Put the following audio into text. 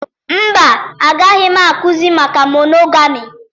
Mba, agaghị m akụzi maka monogami